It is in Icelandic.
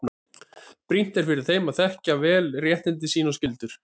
Brýnt er fyrir þeim að þekkja vel réttindi sín og skyldur.